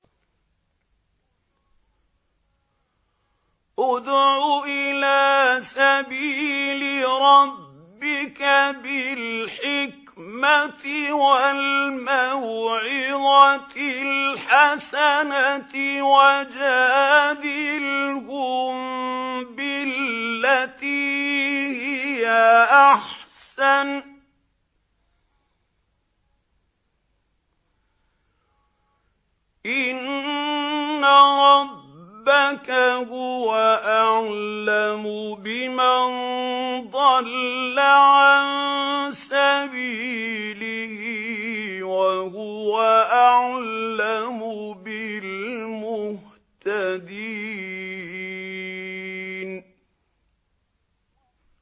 ادْعُ إِلَىٰ سَبِيلِ رَبِّكَ بِالْحِكْمَةِ وَالْمَوْعِظَةِ الْحَسَنَةِ ۖ وَجَادِلْهُم بِالَّتِي هِيَ أَحْسَنُ ۚ إِنَّ رَبَّكَ هُوَ أَعْلَمُ بِمَن ضَلَّ عَن سَبِيلِهِ ۖ وَهُوَ أَعْلَمُ بِالْمُهْتَدِينَ